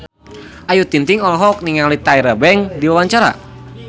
Ayu Ting-ting olohok ningali Tyra Banks keur diwawancara